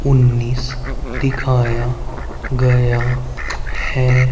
उन्नीस दिखया गया है।